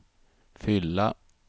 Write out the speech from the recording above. fylla